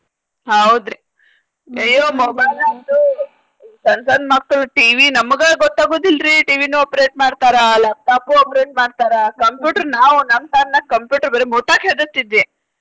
ಹೌದ್ರಿ ಅಯ್ಯೋ mobile ಅಂತೂ ಸಣ್ಣ್ ಸಣ್ಣ್ ಮಕ್ಕಳ್ TV ನಮಗ ಗೊತ್ತ ಆಗುದಿಲ್ರಿ TV ನು operate ಮಾಡ್ತಾರ laptop operate ಮಾಡ್ತಾರ computer ನಾವ್ ನಮ್ಮ್ ಕಾಲ್ನಾಗ್ computer ಬರೆ ಮುಟ್ಟಾಕ್ಕ್ ಹೆದರ್ತಿದ್ವಿ.